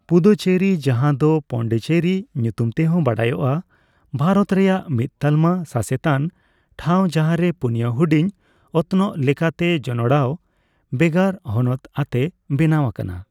ᱯᱩᱫᱩᱪᱮᱨᱤ, ᱡᱟᱦᱟᱸᱫᱚ ᱯᱚᱸᱱᱰᱤᱪᱮᱨᱤ ᱧᱩᱛᱩᱢ ᱛᱮᱦᱚᱸ ᱵᱟᱰᱟᱭᱚᱜ ᱟ, ᱵᱷᱟᱨᱚᱛ ᱨᱮᱭᱟᱜ ᱢᱤᱫ ᱛᱟᱞᱢᱟ ᱥᱟᱹᱥᱮᱛᱟᱱ ᱴᱷᱟᱣ, ᱡᱟᱦᱟᱸᱨᱮ ᱯᱩᱱᱭᱟ ᱦᱩᱰᱤᱧ ᱚᱛᱱᱚᱜ ᱞᱮᱠᱟᱛᱮ ᱡᱚᱱᱚᱲᱟᱣ ᱵᱮᱜᱚᱨ ᱦᱚᱱᱚᱛ ᱟᱛᱮ ᱵᱮᱱᱟᱣ ᱟᱠᱟᱱᱟ ᱾